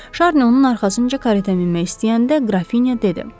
Şarni onun arxasınca kareta minmək istəyəndə Qrafinya dedi: